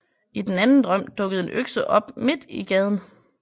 I den anden drøm dukkede en økse op midt i gaden